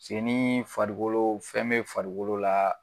Se nii farikolo fɛn bɛ farikolo la